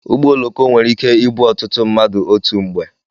Ụgbọ oloko nwere ike ibu ọtụtụ mmadụ otu mgbe.